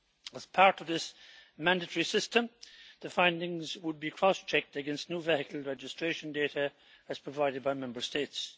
As part of this mandatory system, the findings would be cross checked against new vehicle registration data as provided by Member States.